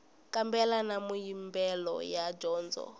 kambela na mimbuyelo ya dyondzo